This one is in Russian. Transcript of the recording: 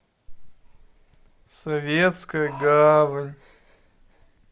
советская гавань